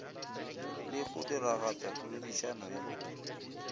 le go diragatša poledišano ye